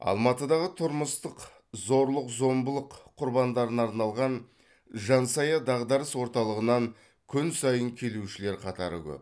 алматыдағы тұрмыстық зорлық зомбылық құрбандарына арналған жан сая дағдарыс орталығынан күн сайын келушілер қатары көп